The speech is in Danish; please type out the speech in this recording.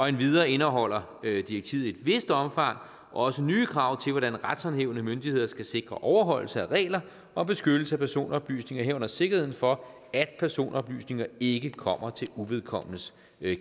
endvidere indeholder direktivet i et vist omfang også nye krav til hvordan retshåndhævende myndigheder skal sikre overholdelse af regler og beskyttelse af personoplysninger herunder sikkerheden for at personoplysninger ikke kommer til uvedkommendes